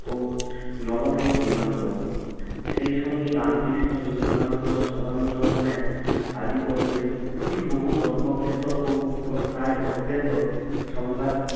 ও নব নব দিগন্তও। সেই সঙ্গে রামকৃষ্ণ বিবেকানন্দ ভাব আন্দোলনের আদি পর্বের বহু অল্পজ্ঞাত ও প্রায় অজ্ঞাত সংবাদ